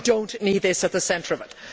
We do not need this at the centre of it.